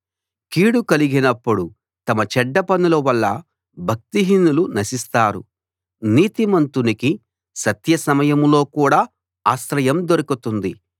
కీడు కలిగినప్పుడు తమ చెడ్డ పనుల వల్ల భక్తిహీనులు నశిస్తారు నీతిమంతునికి సత్య సమయంలో కూడా ఆశ్రయం దొరుకుతుంది